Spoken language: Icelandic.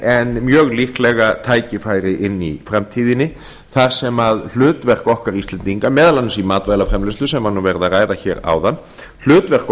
en mjög líklega tækifæri inni í framtíðinni þar sem hlutverk okkar íslendinga meðal annars í matvælaframleiðslu sem er verið að ræða áðan hlutverk